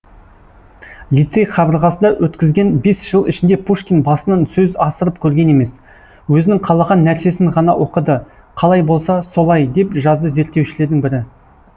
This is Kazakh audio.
лицей қабырғасында өткізген бес жыл ішінде пушкин басынан сөз асырып көрген емес өзінің қалаған нәрсесін ғана оқыды қалай болса солай деп жазды зерттеушілердің бірі